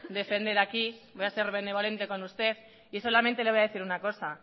defender aquí voy a ser benevolente con usted y solamente le voy a decir una cosa